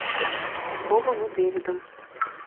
с бобом и дэвидом